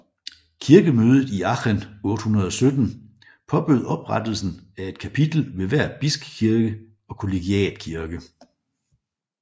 Kirkemødet i Aachen 817 påbød oprettelsen af et kapitel ved hver bispekirke og kollegiatkirke